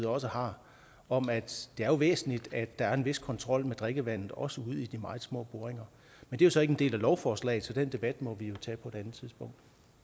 også har om at det er væsentligt at der er en vis kontrol med drikkevandet også ude i de meget små boringer men det er så ikke en del af lovforslaget så den debat må vi jo tage på